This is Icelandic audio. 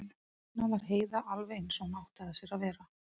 Núna var Heiða alveg eins og hún átti að sér að vera.